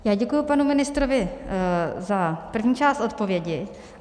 Já děkuji panu ministrovi za první část odpovědi.